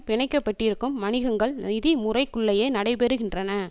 பிணைக்கப்பட்டிருக்கும் வணிகங்கள் நிதி முறைக்குள்ளேயே நடைபெறுகின்றன